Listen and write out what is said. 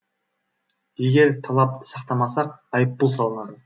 егер талапты сақтамасақ айыппұл салынады